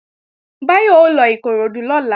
Báyọ̀ ó lọ Ìkoròdú lọ́la